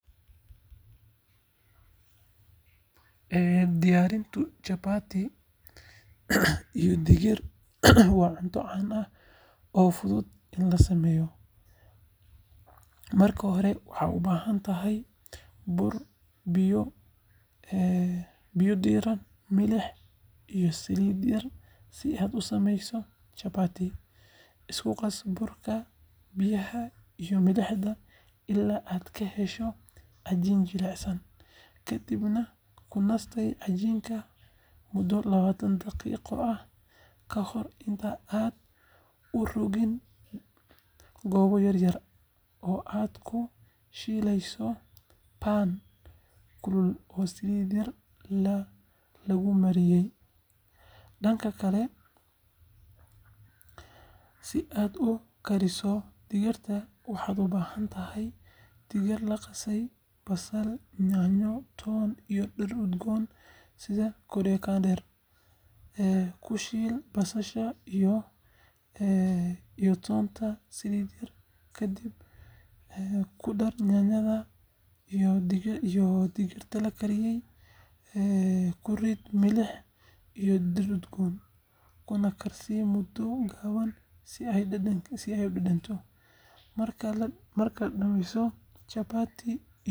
Diyaarinta chapati iyo digir waa cunto caan ah oo fudud in la sameeyo. Marka hore, waxaad u baahan tahay bur, biyo diirran, milix, iyo saliid yar si aad u sameyso chapati. Isku qas burka, biyaha iyo milixda ilaa aad ka hesho cajiin jilicsan. Kadibna ku nastay cajiinka muddo lawatan daqiiqo ah ka hor inta aadan u rogin goobo yaryar oo aad ku shiilayso pan kulul oo saliid yar lagu mariyay. Dhanka kale, si aad u kariso digirta, waxaad u baahan tahay digir la qasay, basal, yaanyo, toon, iyo dhir udgoon sida koriander. Ku shiil basasha iyo toonta saliid yar, kadib ku dar yaanyada iyo digirta la kariyay. Ku rid milix iyo dhir udgoon, kuna karsii muddo gaaban si ay u dhadhamiyaan. Marka la dhammeeyo, chapati.